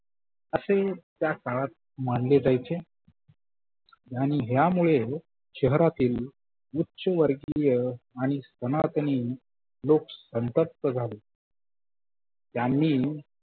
असे त्या काळात मानले जायचे आणि ह्या मुळे शहरातील उच्च वर्गिय आणि सनातनी लोक संतप्त झाले त्यांनी